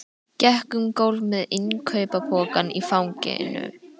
Gekk um gólf með innkaupapokann í fanginu.